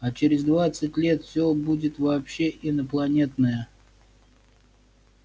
а через двадцать лет все будет вообще инопланетное